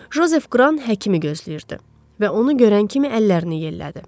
Jozef Qran həkimi gözləyirdi və onu görən kimi əllərini yellədi.